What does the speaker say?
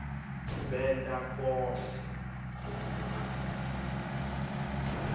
benta konkhe lokusemandleni